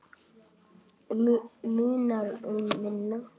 Munar um minna.